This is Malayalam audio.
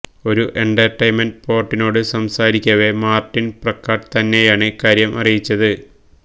ഒരു എന്റര്ട്ടെയിന്മെന്റ് പോര്ട്ടലിനോട് സംസാരിക്കവെ മാര്ട്ടിന് പ്രക്കാട്ട് തന്നെയാണ് ഇക്കാര്യം അറിയിച്ചത്